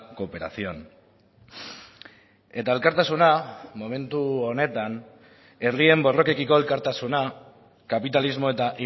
cooperación eta elkartasuna momentu honetan herrien borrokekiko elkartasuna kapitalismo eta